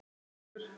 Hvaða reglur?